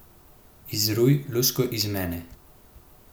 Izruj lusko iz mene.